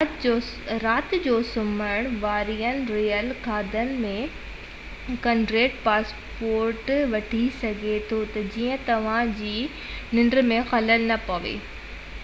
رات جو سمهڻ وارين ريل گاڏين ۾ ڪنڊڪٽر پاسپورٽ وٺي سگهي ٿو تہ جيئن توهان جي ننڊ ۾ خلل نہ پوي